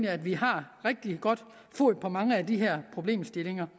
at vi har rigtig godt fod på mange af de her problemstillinger